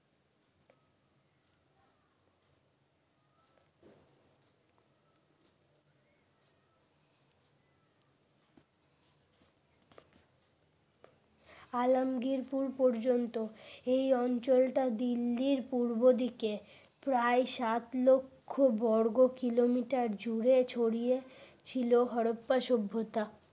আলমগীরপুর পর্যন্ত এই অঞ্চলটা দিল্লির পূর্ব দিকে প্রায় সাত লক্ষ বর্গকিলোমিটার জুড়ে ছড়িয়ে ছিল হরপ্পা সভ্যতা।